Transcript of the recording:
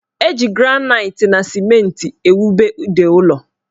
Eji granaiti na simenti ewube ide ụlọ